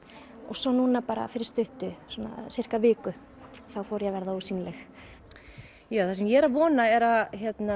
svo núna bara fyrir stuttu viku þá fór ég að verða ósýnileg það sem ég er að vona er að